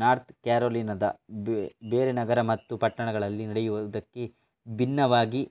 north ಕ್ಯಾರೋಲಿನದ ಬೇರೆ ನಗರ ಮತ್ತು ಪಟ್ಟಣಗಳಲ್ಲಿ ನಡೆಯುವುದಕ್ಕೆ ಭಿನ್ನವಾಗಿ